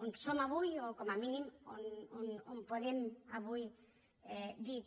on som avui o com a mínim on podem avui dir que